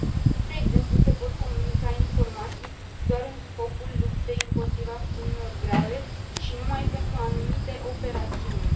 Spre exemplu, se pot comunica informații doar în scopul luptei împotriva infracțiunilor grave și numai pentru anumite operațiuni.